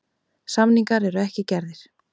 Samningar eru ekki gerðir.